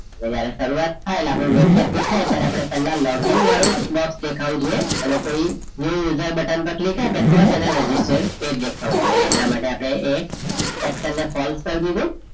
જ્યારે શરૂઆત થાય એટલે આપણને web page દેખાય ત્યારે આપણે પહેલા login વાળું box દેખાવું જોઈએ અને કોઈએ new user button પર click આપે તો જ એને register page દેખાવું જોઈએ. અને એટલા માટે આપણે એ section ને false કરી દીધું.